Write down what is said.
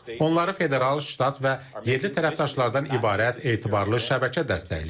Onları federal, ştat və yerli tərəfdaşlardan ibarət etibarlı şəbəkə dəstəkləyir.